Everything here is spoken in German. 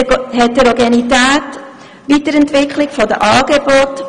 Heterogenität; Weiterentwicklung der Angebote;